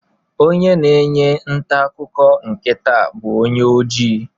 Onye na-enye ntaakụkọ nke taa bụ onye ojii